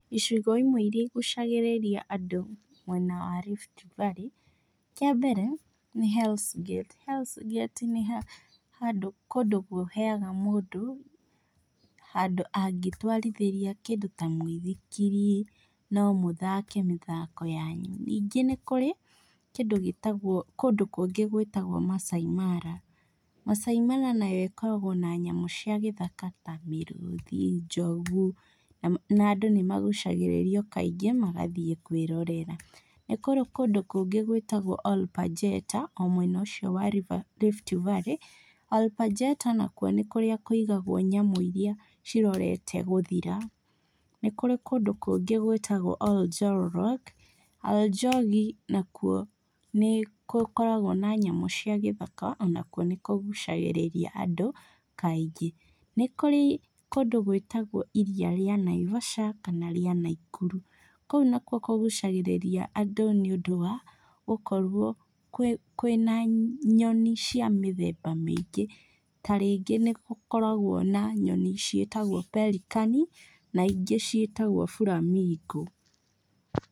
Icigo imwe irĩa igucagĩrĩria andũ mwena wa Rift Valley, kĩambere nĩ Hells gate. Hells gate nĩ handũ, nĩ kũndũ kũheaga mũndũ handũ angĩtũarithĩria kĩndũ ta mũithikiri, no mũthake mĩthako yanyu, ningĩ nĩ kũrĩ kĩndũ gĩtagwo, kũndũ kũngĩ gũĩtagwo Maasai mara. Maasai mara nayo ĩkoragũo na nyamũ cia gĩthaka ta mĩrũthi, njogũ na andũ nĩ magũcagĩrĩrũo kaingĩ magathiĩ kũĩrorera. Nĩ kũrĩ kũndũ kũngĩ gũĩtagwo Olpajeta o mwena ũcio wa Rift Valley. Olpajeta nakuo nĩ kũrĩa kũigagũo nyamũ irĩa cirorete gũthira. Nĩ kũrĩ kũndũ kũngĩ gũĩtagwo Oljolorok, Oronjobi nakũo nĩgũkoragwo na nyamũ cia gĩthaka onakuo nĩkũgucagĩrĩria andũ kaingĩ. Nĩ kũrĩ kũndũ gũĩtagwo iria rĩa Naibaca kana rĩa Naikuru, kũu nakuo kũgũcagĩrĩria andũ nĩũndũ wa gũkorũo kwĩ na nyoni cia mĩthemba mĩingĩ ta rĩngĩ nĩgũkoragwo na nyoni ciĩtagwo pelican na ingĩ ciĩtagwo flamingo.